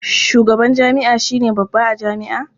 Shugaban jami'a shi ne babba a jami'a.